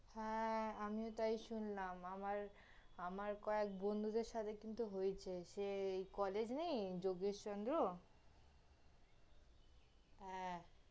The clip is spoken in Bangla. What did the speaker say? হ্যাঁ, আমিও তাই শুনলাম, আমার, আমার কয়েক বন্ধুদের সাথে কিন্তু হয়েছে সে, ওই, college নেই? যোগেশচন্দ্র? হ্যাঁ,